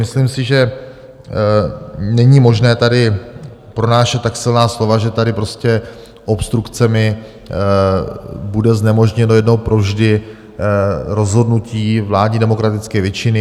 Myslím si, že není možné tady pronášet tak silná slova, že tady prostě obstrukcemi bude znemožněno jednou provždy rozhodnutí vládní demokratické většiny.